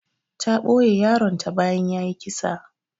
Ta ɓoye yaron ta bayan yayi kisa.